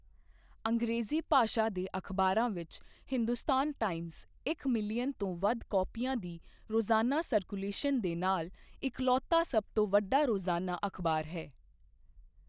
ਅੰਗਰੇਜ਼ੀ ਭਾਸ਼ਾ ਦੇ ਅਖਬਾਰਾਂ ਵਿੱਚ, ਹਿੰਦੁਸਤਾਨ ਟਾਈਮਜ਼, ਇੱਕ ਮਿਲੀਅਨ ਤੋਂ ਵੱਧ ਕਾਪੀਆਂ ਦੀ ਰੋਜ਼ਾਨਾ ਸਰਕੂਲੇਸ਼ਨ ਦੇ ਨਾਲ, ਇਕਲੌਤਾ ਸਭ ਤੋਂ ਵੱਡਾ ਰੋਜ਼ਾਨਾ ਅਖ਼ਬਾਰ ਹੈ।